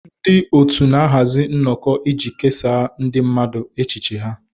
Ndị otu na-ahazi nnọkọ iji kesaa ndị mmadụ echiche ha